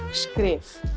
skrif